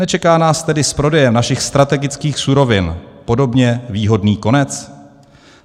Nečeká nás tedy s prodejem našich strategických surovin podobně výhodný konec?